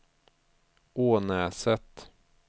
Ånäset